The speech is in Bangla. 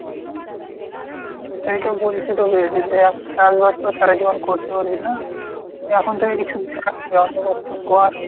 সেটাই তো বলছি তোকে যে দেখ চাষ বাষ তো আর সারাজীবন করতে পারবি না? এখন থেকে কিছু বন্দোবস্ত কর।